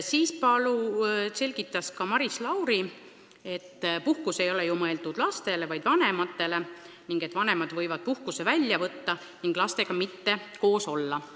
Maris Lauri selgitas, et puhkus ei ole ju mõeldud lastele, vaid vanematele ning et vanemad võivad puhkuse välja võtta ning lastega mitte koos olla.